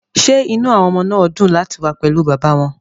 Ṣé inú àwọn ọmọ náà dùn láti wà pẹ̀lú bàbá wọn?